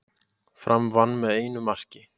Fram vann með einu marki